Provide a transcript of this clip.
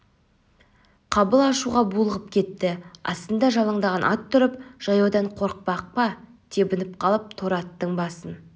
қабыл ашуға булығып кетті астында жалаңдаған ат тұрып жаяудан қорықпақ па тебініп қалып торы аттың басын